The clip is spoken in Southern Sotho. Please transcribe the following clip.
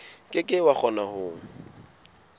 ke ke wa kgona ho